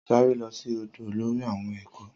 Sáré lo sí ódo olórí àwọn ẹ̀kọ́